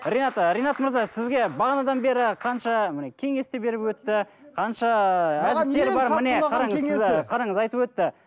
ринат ы ринат мырза сізге бағанадан бері қанша міне кеңес де беріп өтті қанша қараңыз айтып өтті